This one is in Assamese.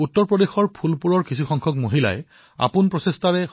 কিছুদিন আগলৈ ফুলপুৰৰ মহিলাসকল আৰ্থিক সমস্যা আৰু দৰিদ্ৰতাৰ চিন্তাত জৰ্জৰিত হৈ আছিল